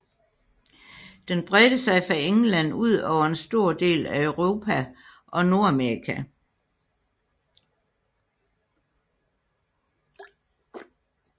Den bredte sig fra England ud over en stor del af Europa og Nordamerika